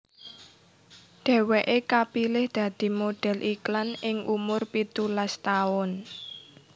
Dheweké kapilih dadi model iklan ing umur pitulas taun